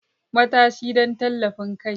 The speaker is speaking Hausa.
Matashi don tallafin kai.